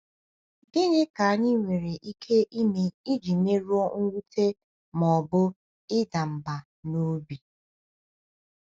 Gịnị ka anyị nwere ike ime iji merụọ mwute ma ọ bụ ịda mba obi?